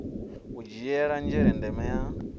u dzhiela nzhele ndeme ya